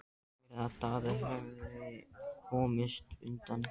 Ég heyrði að Daði hefði komist undan.